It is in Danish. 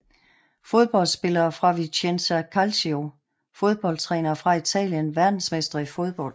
Fodboldspillere fra Vicenza Calcio Fodboldtrænere fra Italien Verdensmestre i fodbold